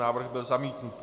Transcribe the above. Návrh byl zamítnut.